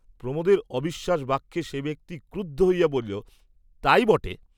প্রমোদের অবিশ্বাস বাক্যে সে ব্যক্তি ক্রুদ্ধ হইয়া বলিল, তাই বটে।